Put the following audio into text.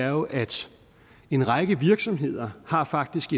jo at en række virksomheder faktisk